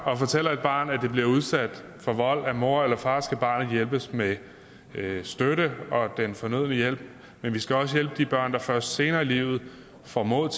og fortæller et barn at det bliver udsat for vold af mor eller far skal barnet hjælpes med støtte og have den fornødne hjælp men vi skal også hjælpe de børn der først senere i livet får mod